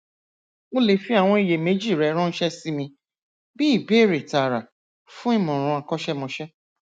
o lè fi àwọn iyèméjì rẹ ránṣẹ sí mi bí ìbéèrè tààrà fún ìmọràn akọsẹmọsẹ